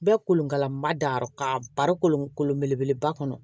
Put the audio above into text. Bɛɛ kolonkalanba da yɔrɔ kan bari kolon kolon belebeleba kɔnɔ